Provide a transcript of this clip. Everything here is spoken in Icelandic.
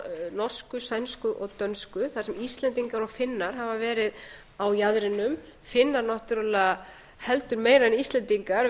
norsku sænsku og dönsku þar sem íslendingar og finnar hafa meira á jaðrinum finnar náttúrlega heldur meira en íslendingar